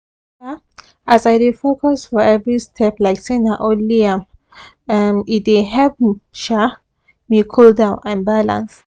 um as i dey focus for every step like say na only am um e dey help um me cool down and balance